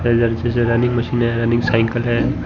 Running machine है। Running cycle है।